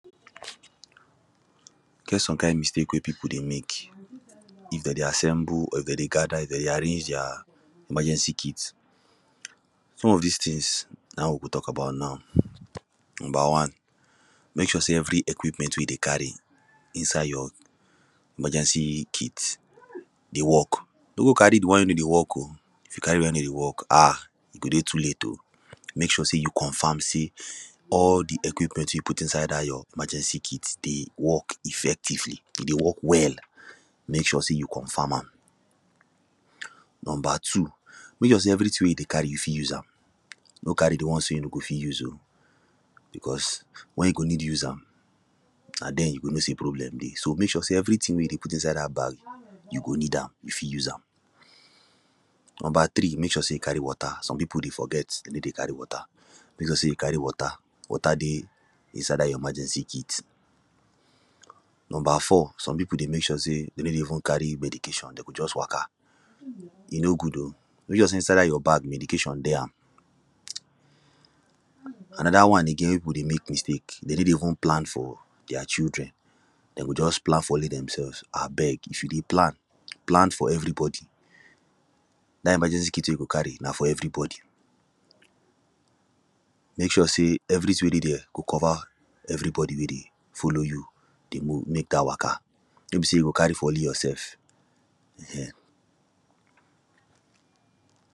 E get some kind mistake wey people dey mek, if them dey assemble, or if them dey gather, if them dey arrange their emergency kit. Some of dis things na we go talk about now. Number one: mek sure say every equipment wey you dey carry inside your emergency kit dey work. no go carry the one wey no dey work o. If you carry the one wey no dey work, um e go dey too late o. mek sure say you confirm say all the equipment you put inside dat your emergency kit dey work effectively, e dey work well. Mek sure say you confirm am. Number two: mek sure say everything wey you dey carry, you fit use am. No carry the ones wey you no go fit use o. because when you go need use am, na then you go know say problem dey. So, mek sure say everything wey you dey inside dat bag you go need am, you fit use am. Number three: mek sure say you carry water, some people dey forget, dey no carry water. Mek sure say you carry water, water dey inside dat your emergency kit Number four: some people dey mek sure say they no dey even carry medication, them go just waka. E no good o. Mek sure say inside dat your bag, medication dey am. Another one again wey people dey mek mistake, they no dey even plan for their children. Them go just plan for only themselves, abeg, if you dey plan, plan for everybody. Dat emergency kit wey you go carry, na for everybody. Mek sure say everything wey dey there go cover everybody wey dey follow you, dey mo mek dat waka. No be say you go carry for only yourself, um